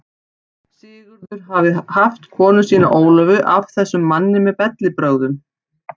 Sigurður hafði haft konu sína Ólöfu af þessum manni með bellibrögðum.